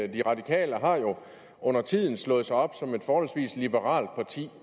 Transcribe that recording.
de radikale har jo undertiden slået sig op som et forholdsvis liberalt parti